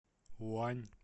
уань